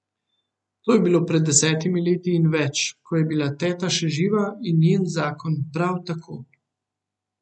To je bilo pred desetimi leti in več, ko je bila teta še živa in njen zakon prav tako.